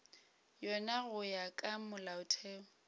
yona go ya ka molaotheo